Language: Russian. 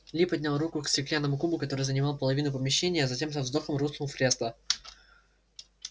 ли поднял руку к стеклянному кубу который занимал половину помещения а затем со вздохом рухнул в кресло